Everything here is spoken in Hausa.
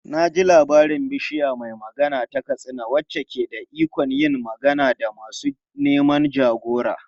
Na ji labarin Bishiya mai Magana ta Katsina wacce ke da ikon yin magana da masu neman jagora.